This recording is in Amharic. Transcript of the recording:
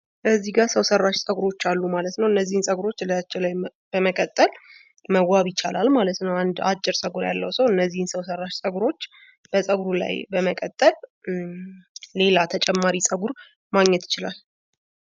ከዚህ ጋ ሰው ሰራሽ ፀጉሮች አሉ ማለት ነው። እነዚህን ፀጉሮች ከላያችን ላይ በመቀጠል መዋብ ይቻላል ማለት ነው። አንድ አጭር ፀጉር ያለው ሰው እነዚህን ሰው ሰራሽ ፀጉሮች በፀጉሩ ላይ በመቀጠል ሌላ ተጨማሪ ፀጉር ማግኘት ይችላል።